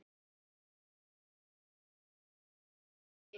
Eru strákarnir alveg tilbúnir að vera með þér í liði?